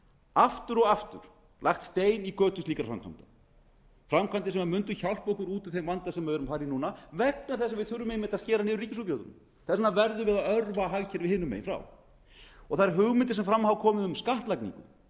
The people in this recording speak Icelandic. aftur og aftur lagt stein í götu slíkra framkvæmda framkvæmda sem mundu hjálpa okkur út úr þeim vanda sem við erum að fara í núna vegna þess að við þurfum einmitt að skera niður í ríkisútgjöldum þess vegna verðum við að örva hagkerfið hinum megin frá þær hugmyndir sem fram hafa komið um skattlagningu